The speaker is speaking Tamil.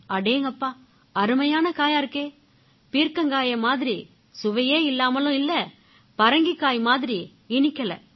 அடேங்கப்பா அருமையான காயா இருக்கே பீர்க்கங்காயை மாதிரி சுவையே இல்லாமலும் இல்லை பரங்கிக்காய் மாதிரியும் இனிக்கலை